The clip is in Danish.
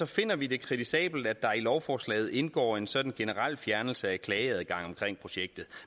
finder vi det kritisabelt at der i lovforslaget indgår en sådan generel fjernelse af klageadgangen omkring projektet